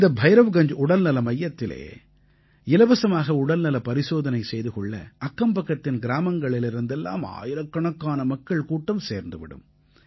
இந்த பைரவ்கஞ்ஜ் உடல்நல மையத்திலே இலவசமாக உடல்நல பரிசோதனை செய்து கொள்ள அக்கம்பக்கத்தின் கிராமங்களிலிருந்து எல்லாம் ஆயிரக்கணக்கான மக்கள் கூட்டம் சேர்ந்து விடும்